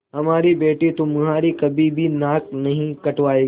हमारी बेटी तुम्हारी कभी भी नाक नहीं कटायेगी